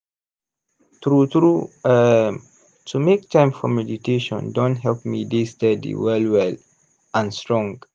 true true um to make time for meditation don help me dey steady well well and strong.